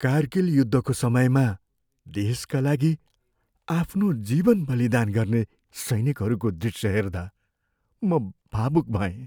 कारगिल युद्धको समयमा देशका लागि आफ्नो जीवन बलिदान गर्ने सैनिकहरूको दृश्य हेर्दा म भावुक भएँ।